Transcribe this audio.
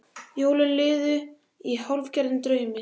Jólin liðu í hálfgerðum draumi.